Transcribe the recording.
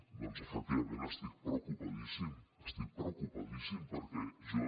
doncs efectivament estic preocupadíssim estic preocupadíssim perquè jo